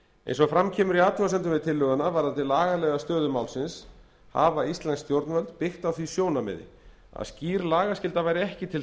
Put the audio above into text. eins og fram kemur í athugasemdum við tillöguna varðandi lagalega stöðu málsins hafa íslensk stjórnvöld byggt á því sjónarmiði að skýr lagaskylda væri ekki til